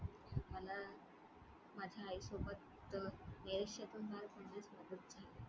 मला माझ्या आई सोबत तर .